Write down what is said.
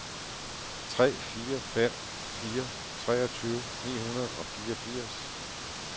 tre fire fem fire treogtyve ni hundrede og fireogfirs